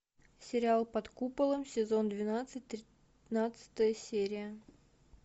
сериал под куполом сезон двенадцать тринадцатая серия